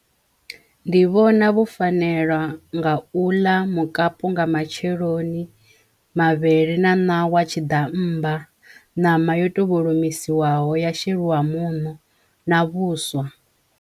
Ndi vhona vhufanelwa nga u ḽa mukapu nga matsheloni, mavhele na ṋawa, tshiḓammba, ṋama yo to vholomiswaho ya sheliwa muṋo na vhuswa.